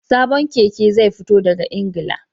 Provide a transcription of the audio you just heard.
Sabon keke zai fito daga Ingila